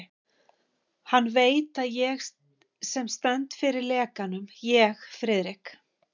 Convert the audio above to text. Hann veit, að það er ég sem stend fyrir lekanum ég, Friðrik